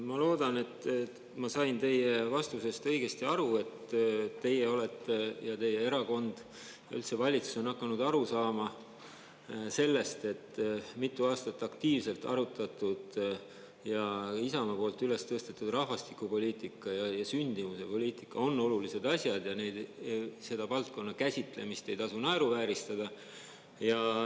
Ma loodan, et ma sain teie vastusest õigesti aru, et teie olete ja teie erakond, üldse valitsus on hakanud aru saama sellest, et mitu aastat aktiivselt arutatud ja Isamaa poolt üles tõstetud rahvastikupoliitika ja sündimusepoliitika on olulised asjad ja selle valdkonna käsitlemist ei tasu naeruvääristada.